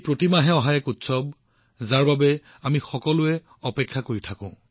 প্ৰতি মাহে এই উৎসৱ আমি সকলোৱে আগ্ৰহেৰে ইয়াৰ অপেক্ষা কৰি আছো